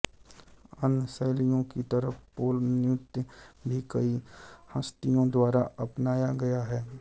अन्य शैलियों की तरह पोल नृत्य भी कई हस्तियों द्वारा अपनाया गया है